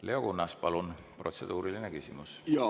Leo Kunnas, palun, protseduuriline küsimus!